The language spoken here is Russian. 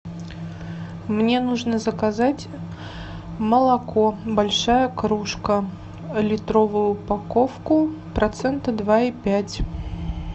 мне нужно заказать молоко большая кружка литровую упаковку процента два и пять